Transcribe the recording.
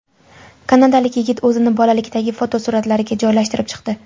Kanadalik yigit o‘zini bolalikdagi fotosuratlariga joylashtirib chiqdi .